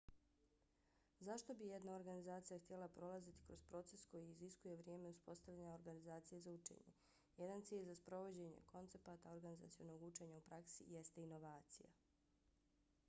zašto bi jedna organizacija htjela prolaziti kroz proces koji iziskuje vrijeme uspostavljanja organizacije za učenje? jedan cilj za sprovođenje koncepata organizacionog učenja u praksi jeste inovacija